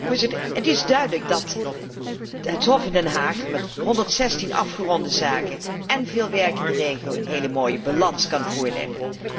Voorzitter, het is duidelijk dat het Hof in Den Haag met 116 afgeronde zaken en veel werk in de regio, een heel mooie balans kan voorleggen.